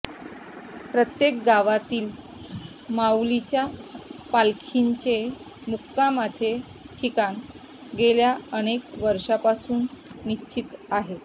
प्रत्येक गावातील माऊलींच्या पालखीचे मुक्कामाचे ठिकाण गेल्या अनेक वर्षांपासून निश्चित आहे